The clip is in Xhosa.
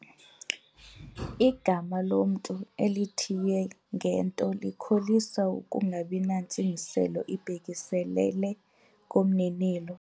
Igama lomntu elithiywe ngento likholisa ukungabi nantsingiselo ibhekiselele kumninilo.